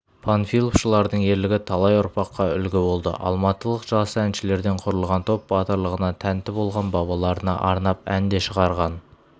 панфиловшылардың ерлігі талай ұрпаққа үлгі болды алматылық жас әншілерден құрылған топ батырлығына тәнті болған бабаларына арнап ән де шығарған